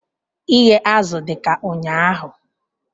Ighe azụ dị ka ụnyaahụ